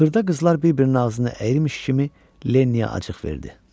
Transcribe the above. Xırda qızlar bir-birinin ağzını əyirmiş kimi Lenniyə acıq verdi.